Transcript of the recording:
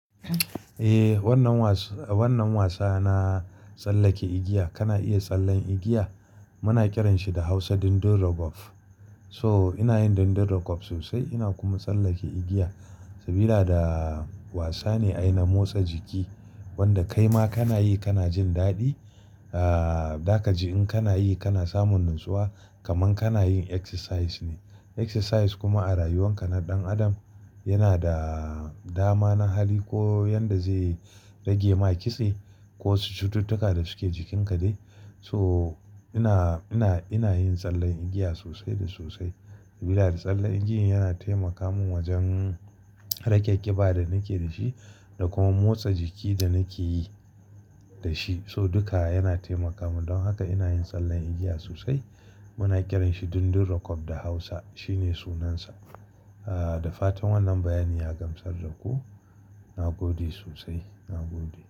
Eh, wannan wasan, wannan wasa na tsallake igiya. Kana iya tsallen igiya? Muna kiranshi da Hausa dundun raggob. So inayin dundun raggob sosai, ina kuma tsallake igiya sabila da wasa ne ai na motsa jiki wanda kaima kana yi kanajin daɗi. Dakaji in kanayi kana samun natsuwa kaman kana yin exercise ne. Exercise kuma a rayuwan ka na ɗan adam yana da dama na hali ko yanda zai rage maka kitse ko cututtuka da suke jikinka dai. So ina, ina, ina yin tsallen igiya sosai da sosai sabila da tsallen igiyan yana taimaka mun wajen rage ƙiba da nake dashi da kuma motsa jiki da nake yi da shi. So duka yana taimaka mun don haka ina yin tsallen igiya sosai. Muna kiran shi dundun raggob da Hausa. Shine sunansa. Da fatan wannan bayani ya gamsar da ku. Na gode sosai, na gode.